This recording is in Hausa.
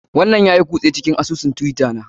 Wannan yayi kushe cikin asusun twitter na.